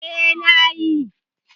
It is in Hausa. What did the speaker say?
Eh, na yi.